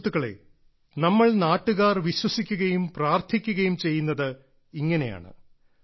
സുഹൃത്തുക്കളേ നമ്മൾ നാട്ടുകാർ വിശ്വസിക്കുകയും പ്രാർത്ഥിക്കുകയും ചെയ്യുന്നത് ഇങ്ങനെയാണ്